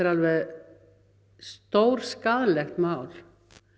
alveg stórskaðlegt mál